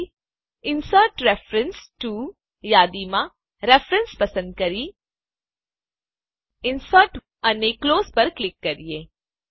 હવે insert reference to યાદીમાં reference પસંદ કરીએ ઇન્સર્ટ અને ક્લોઝ પર ક્લિક કરીએ